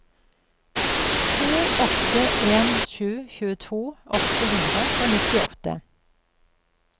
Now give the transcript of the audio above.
to åtte en sju tjueto åtte hundre og nittiåtte